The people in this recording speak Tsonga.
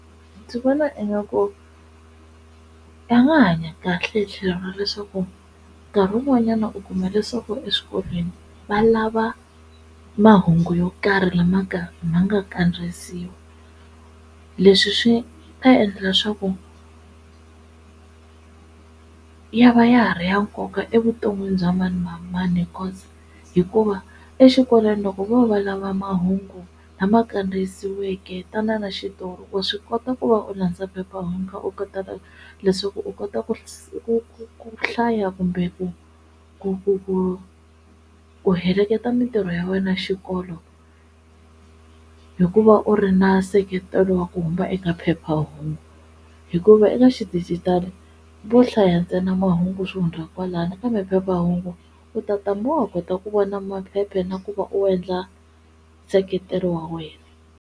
Ndzi vona ingaku ya nga hanya kahle hi tlhelo ra leswaku nkarhi wun'wanyana u kuma leswaku eswikolweni va lava mahungu yo karhi lama ka ma nga kandziyisiwa leswi swi ta endla swa ku ya va ya ha ri ya nkoka evuton'wini bya mani na mani, because hikuva exikolweni loko vo va lava mahungu lama kandziyisiweke tana na xitori wa swi kota ku va u landza phephahungu u leswaku u kota ku ku ku hlaya kumbe ku ku ku ku u heleketa mintirho ya wena xikolo hikuva u ri na seketelo wa ku huma eka phephahungu, hikuva eka xidijitali vo hlaya ntsena mahungu swi hundza kwalano kambe phephahungu u tata ku vona maphepha na ku va u endla nseketelo wa wena.